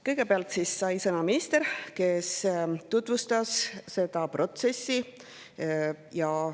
Kõigepealt sai sõna minister, kes tutvustas seda protsessi.